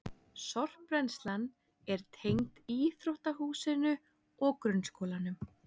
Sorpbrennslan er tengd íþróttahúsinu og grunnskólanum